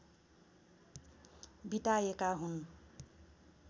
विताएका हुन्